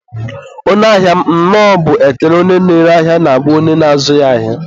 onye ahia m, nnọọ bụ ekele onye na-ere ahịa na-agwa onye na-azụ ya ahịa.